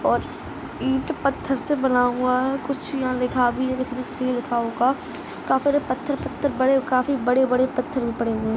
और ईट पथर स बना हुआ है कुछ लिखा हुआ भी है काफी बड़े बड़े पत्थर पड़े है।